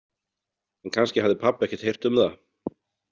En kannski hafði pabbi ekkert heyrt um það.